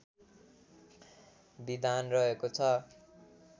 विधान रहेको छ